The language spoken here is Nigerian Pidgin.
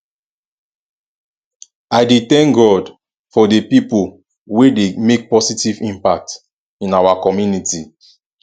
i dey thank god for dey people wey dey make positive impact in our community